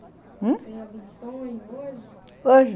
Hum? Tem algum sonho hoje? hoje?